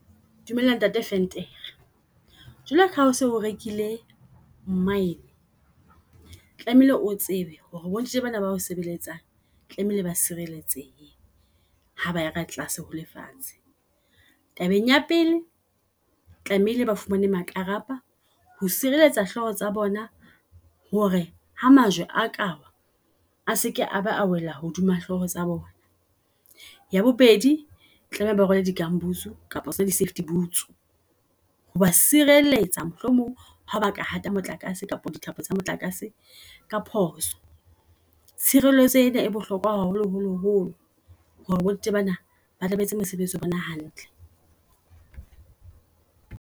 Dumela ntate Venter, jwalo ka ha oso rekile mine tlamehile o tsebe hore bo ntate bana bao sebeletsang tlamehile ba sireletsehe. Ha baya ka tlase ho lefatshe. Tabeng ya pele, tlamehile ba fumane makrapa ho sireletsa hlooho tsa bona, hore ha majwe a kawa a seke a ba a wela hodima hloho tsa bona. Ya bobedi tlameha ba rwale di-gumboots kapa tsona di-safety boots ho ba sireletsa, mohlomong ha ba ka hata motlakase kapa dithapo tsa motlakase ka phoso. Tshireletso ena e bohlokoa haholo holo holo hore bo ntate bana batle ba etse mosebetsi wa bona hantle.